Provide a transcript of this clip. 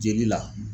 Jeli la